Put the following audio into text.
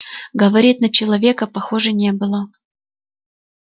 говорит на человека похоже не было